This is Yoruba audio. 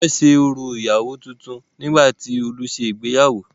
Wọ́n ṣe orò ìyàwó tuntun nígbà tí Olú se ìgbéyàwó.